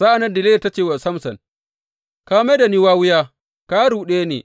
Sa’an nan Delila ta ce wa Samson, Ka mai da ni wawiya; ka ruɗe ni.